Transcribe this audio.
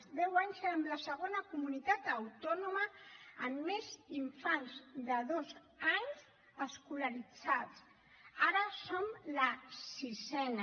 fa deu anys érem la segona comunitat autònoma amb més infants de dos anys escolaritzats ara som la sisena